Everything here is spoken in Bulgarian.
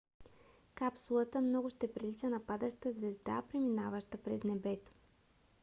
капсулата много ще прилича на падаща звезда преминаваща през небето